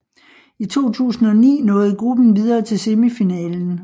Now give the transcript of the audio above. I 2009 nåede gruppen videre til semifinalen